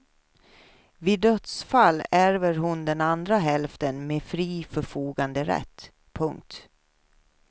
Vid dödsfall ärver hon den andra hälften med fri förfoganderätt. punkt